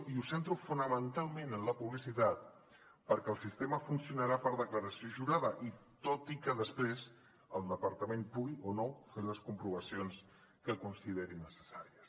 i ho centro fonamentalment en la publicitat perquè el sistema funcionarà per declaració jurada tot i que després el departament pugui o no fer les comprovacions que consideri necessàries